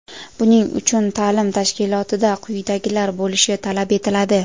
Buning uchun taʼlim tashkilotida quyidagilar bo‘lishi talab etiladi:.